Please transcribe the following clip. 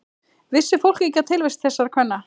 Vissi fólk ekki af tilvist þessara kvenna?